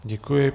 Děkuji.